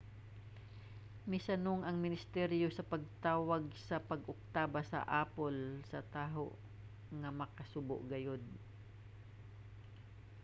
misanong ang ministeryo sa pagtawag sa pag-oktaba sa apple sa taho nga makasubo gayod.